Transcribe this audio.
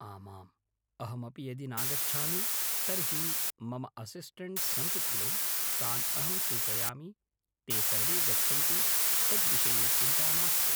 आमाम् अहमपि यदि नागच्छामि तर्हि मम असिस्टे्ण्ट्स् सन्ति खलु तान् अहं सूचयामि ते सर्वे गच्छन्ति तद्विषये चिन्ता मास्तु